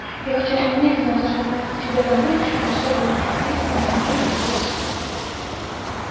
я хотела немедленно отозвать тебя домой но оставила это на усмотрение твоего отца